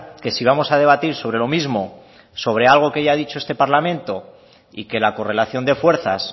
que si vamos a debatir sobre lo mismo sobre algo que ya ha dicho este parlamento y que la correlación de fuerzas